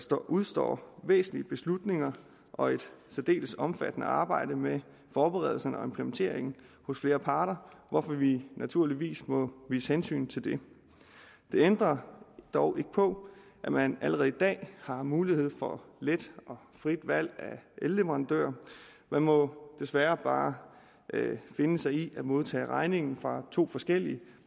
der udestår væsentlige beslutninger og et særdeles omfattende arbejde med forberedelserne og implementeringen hos flere parter hvorfor vi naturligvis må vise hensyn til det det ændrer dog ikke på at man allerede i dag har mulighed for let og frit valg af elleverandør man må desværre bare finde sig i at modtage regningen fra to forskellige